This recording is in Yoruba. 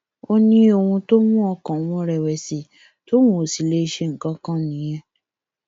ó ní ohun tó mú ọkàn òun rẹwẹsì tóun kò sì lè ṣe nǹkan kan nìyẹn